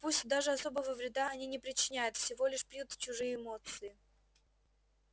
пусть даже особого вреда они не причиняют всего лишь пьют чужие эмоции